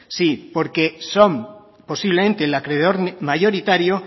sí porque son posiblemente el acreedor mayoritario